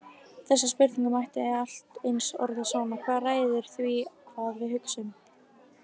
Þessa spurningu mætti allt eins orða svona: Hvað ræður því hvað við við hugsum?